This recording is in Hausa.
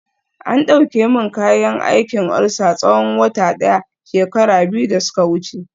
an dauke min kayan aikin ulcer tsawon wata daya shekara biyu da suka wuce